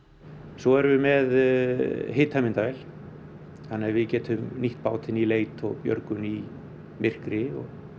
svo erum við með hitamyndavél þannig að við getum nýtt bátinn í leit og björgun í myrkri